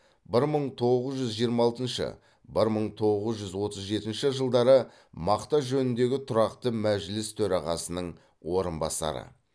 бір мың тоғыз жүз жиырма алтыншы бір мың тоғыз жүз отыз жетінші жылдары мақта жөніндегі тұрақты мәжіліс төрағасының орынбасары